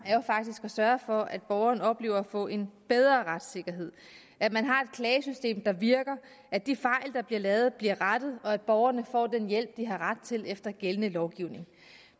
er jo faktisk at sørge for at borgerne oplever at få en bedre retssikkerhed at man har et klagesystem der virker at de fejl der bliver lavet bliver rettet og at borgerne får den hjælp de har ret til efter gældende lovgivning